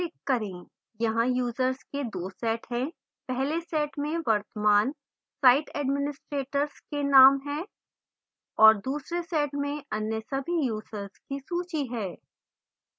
यहाँ users के 2 set हैं पहले set में वर्तमान site administrators के नाम हैं और दूसरे set में अन्य सभी users की सूची है